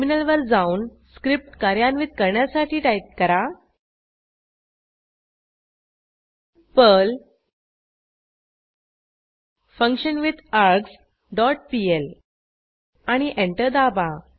टर्मिनलवर जाऊन स्क्रिप्ट कार्यान्वित करण्यासाठी टाईप करा पर्ल फंक्शनविथार्ग्स डॉट पीएल आणि एंटर दाबा